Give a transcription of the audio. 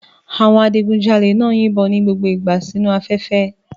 Àwọn adigunjalè náà ń yìnbọn ní gbogbo ìgbà sínu afẹ́fẹ́